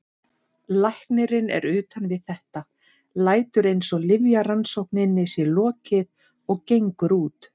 Læknirinn er utan við þetta, lætur eins og lyfjarannsókninni sé lokið og gengur út.